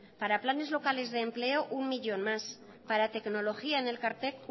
para planes locales de empleo uno millón más para tecnología en elkartek